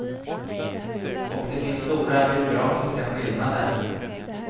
Och det finns stora geografiska skillnader.